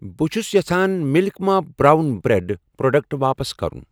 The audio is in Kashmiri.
بہٕ چھُ یژھان مِلک ما برٛاون برٛٮ۪ڈ پروڈکٹ واپَس کرُن